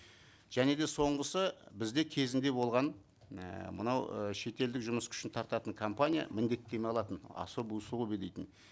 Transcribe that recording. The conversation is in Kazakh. және де соңғысы бізде кезінде болған ііі мынау ы шетелдік жұмыс күшін тартатын компания міндеттеме алатын особые условия дейтін